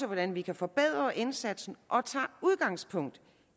hvordan vi kan forbedre indsatsen og som tager udgangspunkt